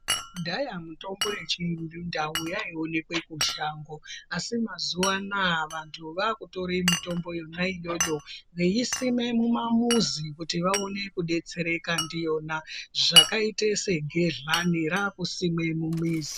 Kudhaya mitombo yechindau yaionekwe kushango asi mazuwa anaa vantu vakutora mitombo yona iyoyo veiisima mimamuzi kuti vaone kudetsereka ndiyona zvakaite segedhlani rakusimwa mumamizi.